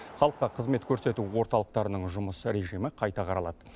халыққа қызмет көрсету орталықтарының жұмыс режимі қайта қаралады